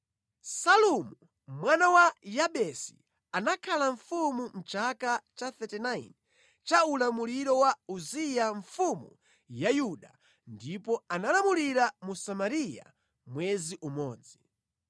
Salumu mwana wa Yabesi anakhala mfumu mʼchaka cha 39 cha ulamuliro wa Uziya mfumu ya Yuda ndipo analamulira mu Samariya mwezi umodzi.